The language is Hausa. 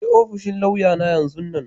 Je ofishin lauya'n yanzun nan!